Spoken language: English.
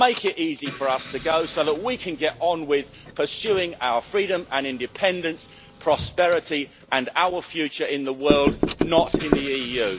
Make it easy for us to go, so that we can get on with pursuing our freedom and independence, prosperity and our future in the world, not in the EU.